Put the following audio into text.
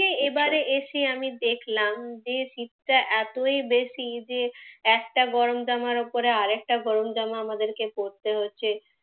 এবারে এসে আমি দেখলাম, যে শীতটা এতই বেশী যে একটা গরম জামার ওপরে আরেকটা গরম জামা আমাদের পড়তে হচ্ছে।